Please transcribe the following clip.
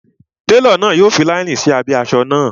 Télọ̀ náà yọ fi láínì sí abẹ́ asọ náà